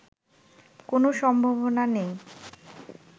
কোনো সম্ভাবনা নেই